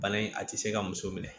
Bana in a tɛ se ka muso minɛ